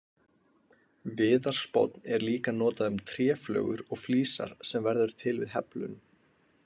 Viðarspónn er líka notað um tréflögur og flísar sem verður til við heflun.